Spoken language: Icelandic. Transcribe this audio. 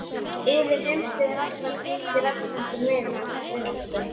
Yfir heimsbyggðir allar tengir æskan sín vináttubönd.